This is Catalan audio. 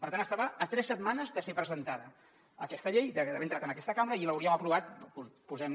per tant estava a tres setmanes de ser presentada aquesta llei d’haver entrat en aquesta cambra i l’hauríem aprovat posem